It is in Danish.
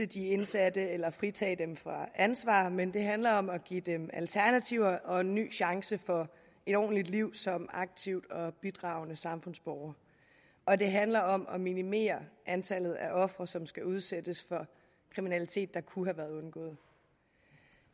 de indsatte eller fritage dem for ansvar men det handler om at give dem alternativer og en ny chance for et ordentligt liv som aktiv og bidragende samfundsborger og det handler om at minimere antallet af ofre som skal udsættes for kriminalitet der kunne have været undgået